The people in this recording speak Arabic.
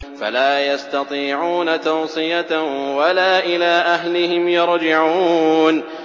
فَلَا يَسْتَطِيعُونَ تَوْصِيَةً وَلَا إِلَىٰ أَهْلِهِمْ يَرْجِعُونَ